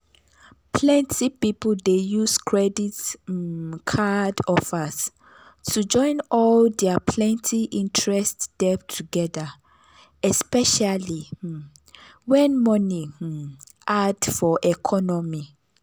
plenty people dey use credit um card offers to join all their plenty-interest debt together especially um when money um hard for economy.